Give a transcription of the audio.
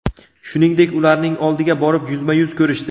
Shuningdek, ularning oldiga borib, yuzma-yuz ko‘rishdi.